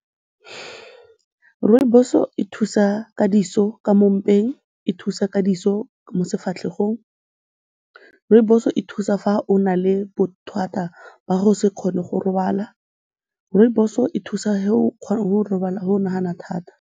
Rooibos-o e thusa ka diso ka mo mpeng, e thusa ka diso mo sefatlhegong, rooibos-o e thusa fa o na le bothata ba go se kgone go robala, rooibos-o e thusa fa o nagana thata.